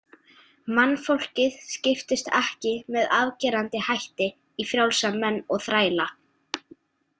Mannfólkið skiptist ekki með afgerandi hætti í frjálsa menn og þræla.